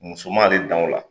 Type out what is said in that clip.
Muso ma ale dan o la.